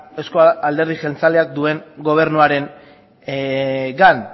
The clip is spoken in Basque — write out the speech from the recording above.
euzko alderdi jeltzaleak duen gobernuarengan